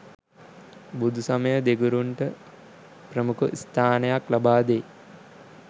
බුදුසමය දෙගුරුන්ට ප්‍රමුඛ ස්ථානයක් ලබා දෙයි.